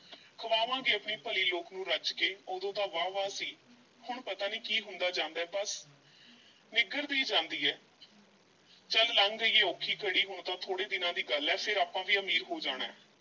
ਖਵਾਵਾਂਗੇ ਆਪਣੀ ਭਲੀ ਲੋਕ ਨੂੰ ਰੱਜ ਕੇ, ਉਦੋਂ ਤਾਂ ਵਾਹ-ਵਾਹ ਸੀ ਹੁਣ ਪਤਾ ਨਹੀਂ ਕੀ ਹੁੰਦਾ ਜਾਂਦਾ ਹੈ ਬੱਸ ਨਿੱਘਰਦੀ ਜਾਂਦੀ ਐ ਚੱਲ ਲੰਘ ਗਈ ਐ ਔਖੀ ਘੜੀ ਹੁਣ ਤਾਂ ਥੋੜ੍ਹੇ ਦਿਨਾਂ ਦੀ ਗੱਲ ਐ ਫੇਰ ਆਪਾਂ ਵੀ ਅਮੀਰ ਹੋ ਜਾਣਾ ਹੈ।